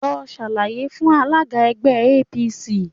Lọ ṣàlàyé fún alága ẹgbẹ́ APC